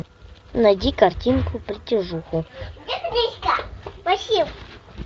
найди картинку притяжуху